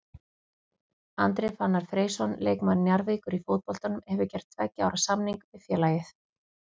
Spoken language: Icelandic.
Andri Fannar Freysson leikmaður Njarðvíkur í fótboltanum hefur gert tveggja ára samning við félagið.